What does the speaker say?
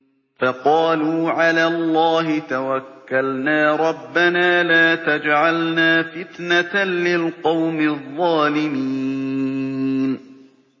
فَقَالُوا عَلَى اللَّهِ تَوَكَّلْنَا رَبَّنَا لَا تَجْعَلْنَا فِتْنَةً لِّلْقَوْمِ الظَّالِمِينَ